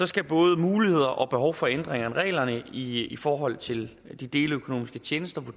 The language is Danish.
skal både muligheder og behov for en ændring af reglerne i i forhold til de deleøkonomiske tjenester